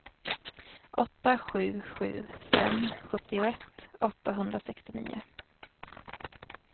åtta sju sju fem sjuttioett åttahundrasextionio